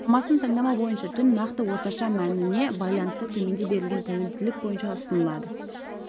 шамасын таңдама бойынша түн нақты орташа мәніне байланысты төменде берілген тәуелділік бойынша ұсынылады